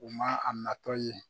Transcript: U man a natɔ ye.